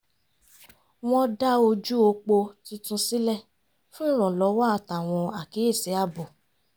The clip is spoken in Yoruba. wọ́n dá ojú opo tuntun sílẹ̀ fún ìrànlọ́wọ́ àtàwọn àkíyèsí ààbò